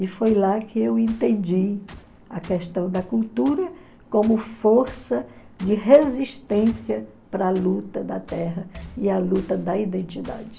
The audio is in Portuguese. E foi lá que eu entendi a questão da cultura como força de resistência para a luta da terra e a luta da identidade.